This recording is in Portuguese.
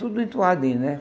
Tudo entoadinho, né?